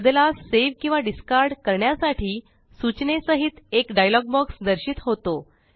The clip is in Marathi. बदलास सावे किंवा डिस्कार्ड करण्यासाठी सूचने सहित एक डायलॉग बॉक्स दर्शित होतो